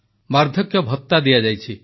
ବାର୍ଦ୍ଧକ୍ୟ ଭତା ଦିଆଯାଇଛି